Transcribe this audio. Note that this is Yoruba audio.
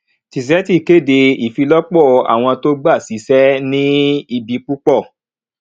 tizeti kéde ìfilọpọ àwọn tó gba síṣẹ ní ibi púpọ